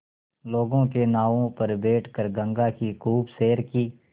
लोगों के नावों पर बैठ कर गंगा की खूब सैर की